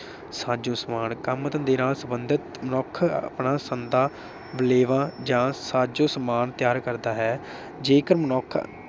ਸਾਜੋ ਸਮਾਜ ਕਮ ਧੰਦੇ ਨਾਲ ਸੰਬੰਧਤ ਮਨੁੱਖ ਆਪਣਾ ਸੰਦਾਂ, ਬਲੇਵਾ ਜਾਂ ਸਾਜੋ ਸਮਾਨ ਤਿਆਰ ਕਰਦਾ ਹੈ। ਜੇਕਰ ਮਨੁੱਖ